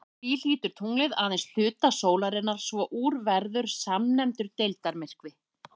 Því hylur tunglið aðeins hluta sólarinnar svo úr verður svonefndur deildarmyrkvi.